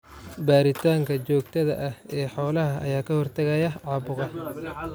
Baaritaanka joogtada ah ee xoolaha ayaa ka hortagaya caabuqa.